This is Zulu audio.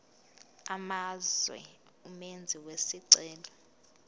amazwe umenzi wesicelo